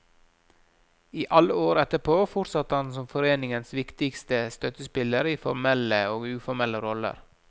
I alle år etterpå fortsatte han som foreningens viktigste støttespiller i formelle og uformelle roller.